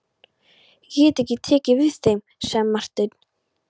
Ég get ekki tekið við þeim, sagði Marteinn.